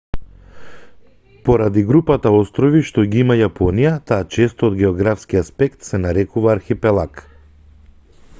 поради групата острови што ги има јапонија таа често од географски аспект се нарекува архипелаг